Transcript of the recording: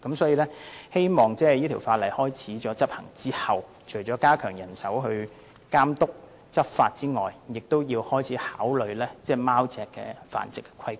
所以，希望這項修訂規例生效後，政府除了加強人手監督和執法外，亦要開始考慮貓隻的繁殖和規管。